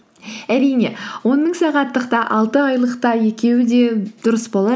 әрине он мың сағаттық та алты айлық та екеуі де дұрыс болар